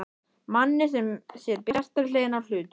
Manni sem sér bjartari hliðina á hlutunum.